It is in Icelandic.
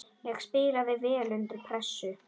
Ég spilaði vel undir pressu.